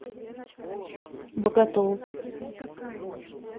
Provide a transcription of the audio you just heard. боготол